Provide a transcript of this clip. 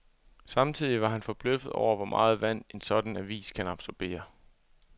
Samtidig var han forbløffet over, hvor meget vand en sådan avis kan absorbere.